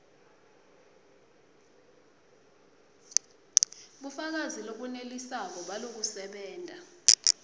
bufakazi lobunelisako balokusebenta